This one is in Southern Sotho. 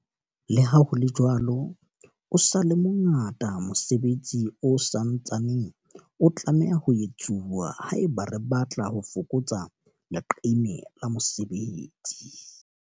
Leha ho le jwalo, o sa le mo ngata mosebetsi o sa ntsaneng o tlameha ho etsuwa haeba re batla ho fokotsa leqeme la mesebetsi.